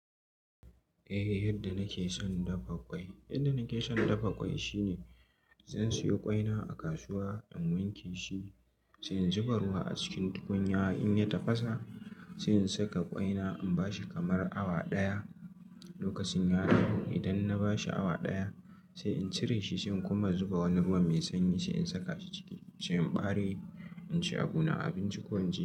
Eh, yadda nake son dafa ƙwai. Yadda nake son dafa ƙwai shine, zan siyo ƙwaina a kasuwa, in wanke shi, sai in zuba ruwa a cikin tukunya in ya tafasa, sai in saka ƙwaina in bashi kamar awa ɗaya. Lokacin ya dahu idan na bashi awa ɗaya, sai in cire shi sai in kuma zuba wani ruwan mai sanyi sai in saka shi ciki, sai in ɓare in ci abuna a abinci ko in ci.